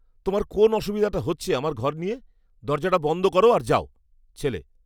তোমার কোন অসুবিধাটা হচ্ছে আমার ঘর নিয়ে? দরজাটা বন্ধ করো আর যাও। ছেলে